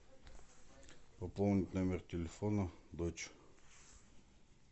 пополнить номер телефона дочь